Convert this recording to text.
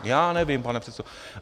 Já nevím, pane předsedo.